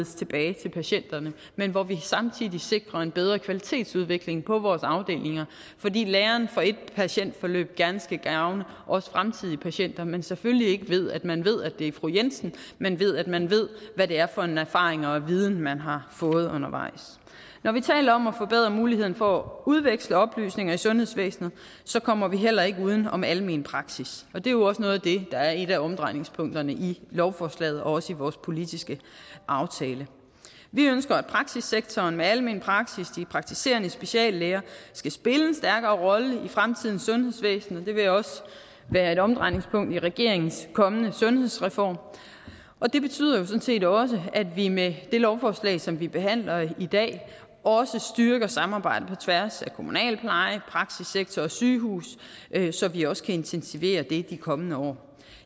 tilbage til patienterne men hvor vi samtidig sikrer en bedre kvalitetsudvikling på vores afdelinger fordi læren fra et patientforløb gerne skal gavne fremtidige patienter men selvfølgelig ikke ved at man ved at det er fru jensen men ved at man ved hvad det er for en erfaring og viden man har fået undervejs når vi taler om at forbedre muligheden for at udveksle oplysninger i sundhedsvæsenet kommer vi heller ikke uden om almen praksis og det er jo også noget af det der er et af omdrejningspunkterne i lovforslaget og også i vores politiske aftale vi ønsker at praksissektoren med almen praksis og de praktiserende speciallæger skal spille en stærkere rolle i fremtidens sundhedsvæsen og det vil også være et omdrejningspunkt i regeringens kommende sundhedsreform og det betyder jo sådan set også at vi med det lovforslag som vi behandler i dag styrker samarbejdet på tværs af kommunal pleje praksissektor og sygehus så vi også kan intensivere det i de kommende år og